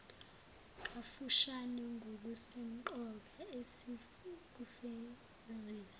kafushane ngokusemqoka esikufezile